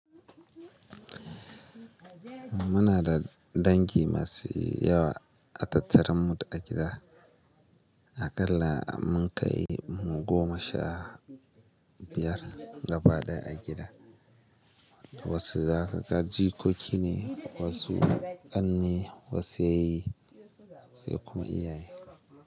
Muna da dangi masu yawa a tattarar mu a gida. Aƙalla mun kai mu goma sha biyar gaba ɗaya a gida. Wasu zaka ga jikoki ne, wasu ƙanne, wasu yayyi sai kuma iyaye.